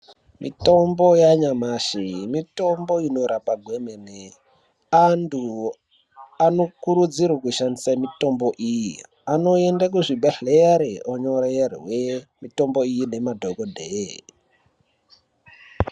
Mitombo yanyamashi mitombo inorapa kwemene antu anokurudzirwe kushandise mitombo iyi anoende kuzvibhedhlere onyorerwe mitombo iyi nemadhokodheya.